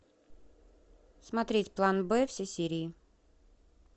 смотреть план б все серии